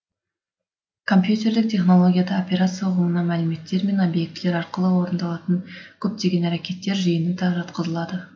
компьютерлік технологияда операция ұғымына мәліметтер мен объектілер арқылы орындалатын көптеген әрекеттер жиыны да жатқызылады